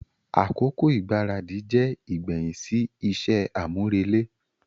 Akoko igbaradi jẹ igbẹhin si iṣẹ amurele.